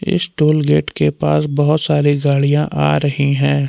इस toll gate के पास बहुत सारी गाड़ियां आ रही हैं।